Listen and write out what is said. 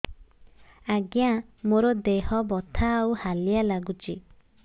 ଆଜ୍ଞା ମୋର ଦେହ ବଥା ଆଉ ହାଲିଆ ଲାଗୁଚି